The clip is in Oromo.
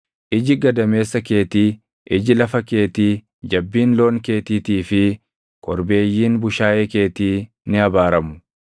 Iji gadameessa keetii, iji lafa keetii, jabbiin loon keetiitii fi korbeeyyiin bushaayee keetii ni abaaramu.